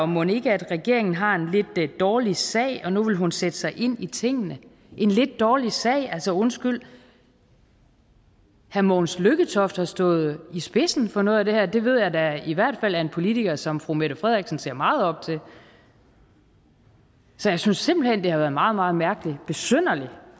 mon ikke regeringen har en lidt dårlig sag og at nu vil hun sætte sig ind i tingene en lidt dårlig sag altså undskyld herre mogens lykketoft har stået i spidsen for noget af det her og det ved jeg da i hvert fald er en politiker som fru mette frederiksen ser meget op til så jeg synes simpelt hen det har været meget meget mærkeligt besynderligt